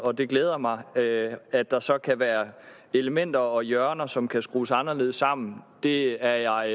og det glæder mig at der så kan være elementer og hjørner som kan skrues anderledes sammen det er jeg